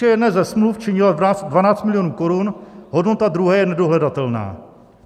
Výše jedné ze smluv činila 12 milionů korun, hodnota druhé je nedohledatelná.